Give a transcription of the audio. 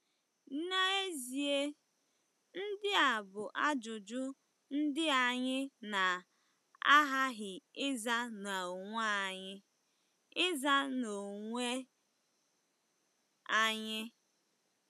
N'ezie, ndị a bụ ajụjụ ndị anyị na-aghaghị ịza n'onwe anyị. ịza n'onwe anyị.